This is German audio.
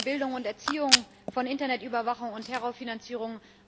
Der spricht von Bildung und Erziehung, von Internetüberwachung und Terrorfinanzierung.